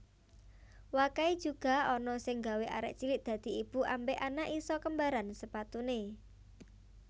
Wakai juga ana sing gawe arek cilik dadi ibu ambek anak iso kembaran sepatune